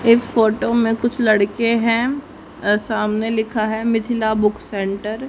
इस फोटो में कुछ लड़के हैं। सामने लिखा है मिथिला बुक सेंटर --